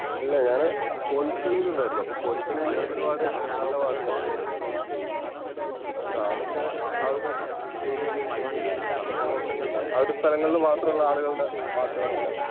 എല്ല ഞാന് കൊൽക്കളിയിൽ ഉണ്ടായിരുന്നു അപ്പൊ കൊൽക്കളിയില് ഒരുപാട് നല്ല പാട്ടുകളും ഉണ്ട്. എന്താ അതൊക്കെ ആ ഒരു ഏരിയയില് എഹ് അല്ല ആ ഒരു സ്ഥലങ്ങളില് മാത്രം ഉള്ള ആളുകളുടെ പാട്ടുകളാണ്